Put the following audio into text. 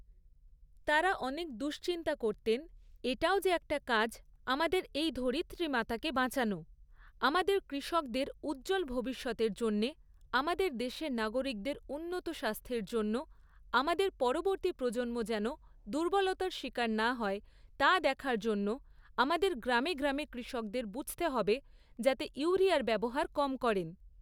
তারা অনেক দুঃচিন্তা করতেন, এটাও যে একটা কাজ, আমাদের এই ধরিত্রীমাকে বাঁচানো, আমাদের কৃষকদের উজ্জ্বল ভবিষ্যতের জন্যে, আমাদের দেশের নাগরিকদের উন্নত স্বাস্থ্যের জন্য আমাদের পরবর্তী প্রজন্ম যেন দুর্বলতার শিকার না হয়, তা দেখার জন্য আমাদের গ্রামে গ্রামে কৃষকদের বুঝতে হবে, যাতে ইউরিয়ার ব্যবহার কম করেন।